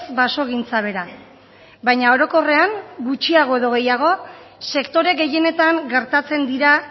basogintza bera baina orokorrean gutxiago edo gehiago sektore gehienetan gertatzen dira